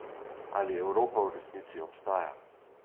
Ali Evropa v resnici obstaja?